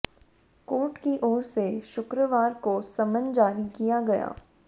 court की ओर से शुक्रवार को समन जारी किया गया